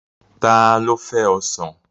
Ta ló fẹ́ Ọsàn?